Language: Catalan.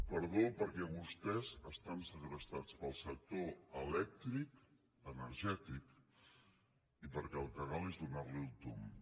perdó perquè vostès estan segrestats pel sector elèctric energètic i perquè el que cal és donar li el tomb